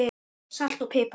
Salt og pipar